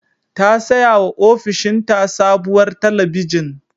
Ta sayawa ofishinta sabuwar talabijin.